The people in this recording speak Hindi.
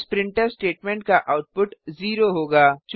इस प्रिंटफ स्टेटमेंट का आउटपुट 0 होगा